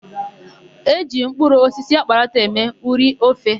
E ji mkụrụ osisi akparata eme ụrị ofe.